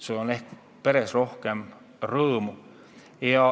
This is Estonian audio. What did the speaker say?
Sul on peres rohkem rõõmu.